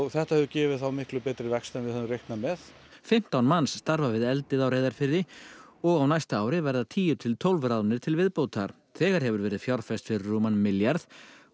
þetta hefur gefið þá miklu betri vöxt en við höfum reiknað með fimmtán manns starfa við eldið í Reyðarfirði og á næsta ári verða tíu til tólf ráðnir til viðbótar þegar hefur verið fjárfest fyrir rúman milljarð